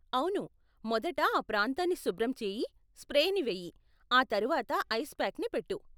అవును, మొదట ఆ ప్రాంతాన్ని శుభ్రం చేయి, స్ప్రేని వేయి, ఆ తరువాత ఐస్ పాక్ని పెట్టు.